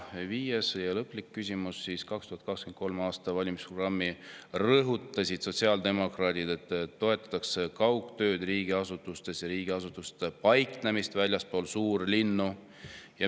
" Ja viies, lõpuküsimus: "2023. aasta valimisprogrammis rõhutasid sotsiaaldemokraadid, et toetatakse kaugtööd riigiasutustes ja riigiasutuste paiknemist väljaspool suurlinnu.